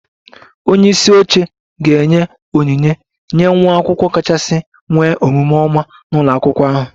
Onye isi oche ga-enye onyinye nye nwa akwụkwọ kachasị nwee omume oma n'ụlọ akwụkwọ ahụ